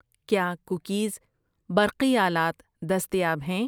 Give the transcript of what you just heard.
کیا کوکیز ، برقی آلات دستیاب ہیں؟